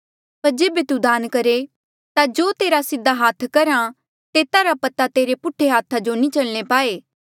पर जेबे तू दान करहे ता जो तेरा सीधा हाथ करहा तेता रा पता तेरे पुठा हाथा जो नी चलणे पाए